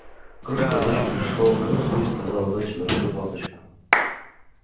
крошка дочь пришёл к отцу и сказала доча дорогой папочка